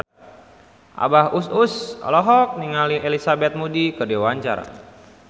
Abah Us Us olohok ningali Elizabeth Moody keur diwawancara